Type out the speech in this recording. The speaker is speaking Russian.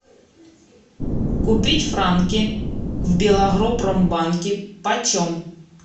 купить франки в белагропромбанке почем